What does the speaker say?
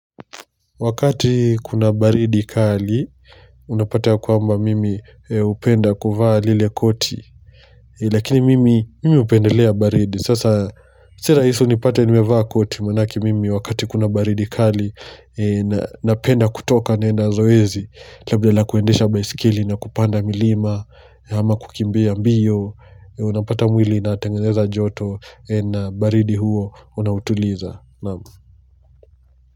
Wakati kuna baridi kali, unapata ya kwamba mimi upenda kuvaa lile koti. Lakini mimi upendelea baridi. Sasa, si rahisi unipata nimevaa koti, manake mimi wakati kuna baridi kali, napenda kutoka naenda zoezi, labda la la kuendesha baisikili na kupanda milima, ama kukimbea mbio, unapata mwili inatengeneza joto, ena baridi huo unautuliza.